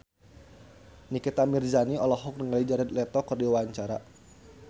Nikita Mirzani olohok ningali Jared Leto keur diwawancara